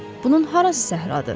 Bunun harası səhradır?